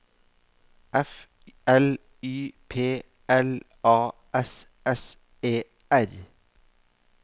F L Y P L A S S E R